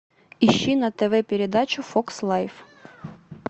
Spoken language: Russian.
ищи на тв передачу фокс лайф